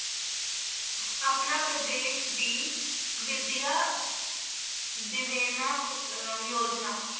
ਆਪਣਾ ਪ੍ਰਦੇਸ ਦੀ ਵਿਦਿਆ ਦਿਵੇਨਾ ਖੋ~ ਅਹ ਯੋਜਨਾ।